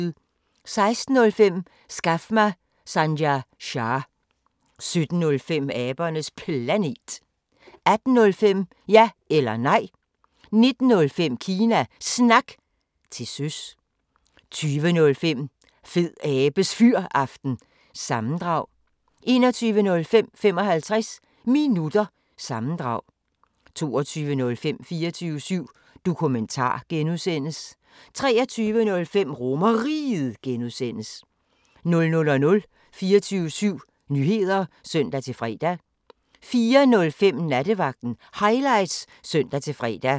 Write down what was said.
16:05: Skaf mig Sanjay Shah 17:05: Abernes Planet 18:05: Ja eller Nej 19:05: Kina Snak – til søs 20:05: Fedabes Fyraften – sammendrag 21:05: 55 Minutter – sammendrag 22:05: 24syv Dokumentar (G) 23:05: RomerRiget (G) 00:00: 24syv Nyheder (søn-fre) 04:05: Nattevagten Highlights (søn-fre)